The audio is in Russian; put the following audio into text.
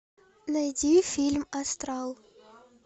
найди фильм астрал